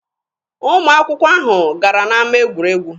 Ụmụ akwụkwọ ahụ gara n'ama egwuregwu.